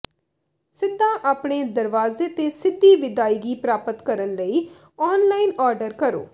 ਸਿੱਧਾ ਆਪਣੇ ਦਰਵਾਜ਼ੇ ਤੇ ਸਿੱਧੀ ਵਿਦਾਇਗੀ ਪ੍ਰਾਪਤ ਕਰਨ ਲਈ ਔਨਲਾਈਨ ਆਰਡਰ ਕਰੋ